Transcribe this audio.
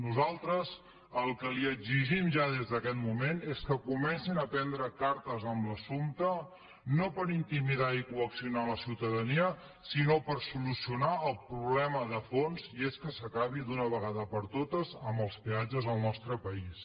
nosaltres el que li exigim ja des d’aquest moment és que comencin a prendre cartes en l’assumpte no per intimidar i coaccionar la ciutadania sinó per solucionar el problema de fons i és que s’acabi d’una vegada per totes amb els peatges al nostre país